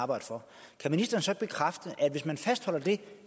arbejde for kan ministeren så bekræfte at hvis man fastholder det